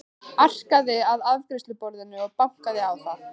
Arkaði að afgreiðsluborðinu og bankaði á það.